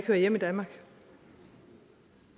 hører hjemme i danmark